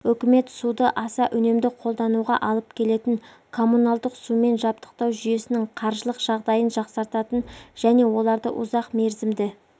үкімет суды аса үнемді қолдануға алып келетін коммуналдық сумен жабдықтау жүйесінің қаржылық жағдайын жақсартатын және олардың ұзақ мерзімді